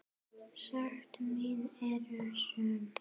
Sekt mín er söm.